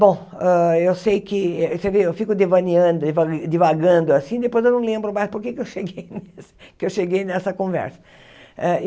Bom, hã eu sei que, você vê, eu fico devaneando deva divagando assim, depois eu não lembro mais porque eu cheguei que eu cheguei nessa conversa.